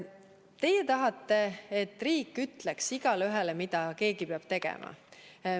Teie tahate, et riik ütleks igaühele ette, mida keegi peab tegema.